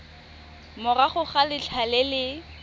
morago ga letlha le le